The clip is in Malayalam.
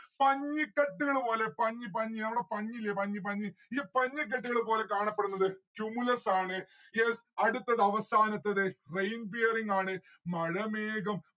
പഞ്ഞിക്കെട്ടുകള് പോലെ പഞ്ഞി പഞ്ഞി നമ്മട പഞ്ഞി ഇല്ലേ പഞ്ഞി പഞ്ഞി ഈ പഞ്ഞി കെട്ടുകള് പോലെ കാണപ്പെടുന്നത് cumulus ആണ്. yes അടുത്തത് അവസാനത്തേത് rain bearing ആണ്. മഴമേഘം